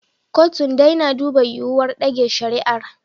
Kotun dai na duba yiwuwar ɗage shari'ar.